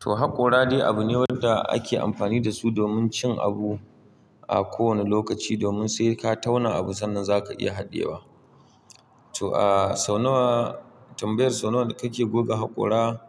To haƙora dai abu ne wanda ake amfani da su domin cin abu a kowane lokaci domin sai ka tauna abu sannan za ka iya haɗiyewa. To a sau nawa, tambayar sau nawa kake goge haƙora?